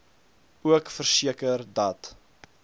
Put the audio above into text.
ook verseker dat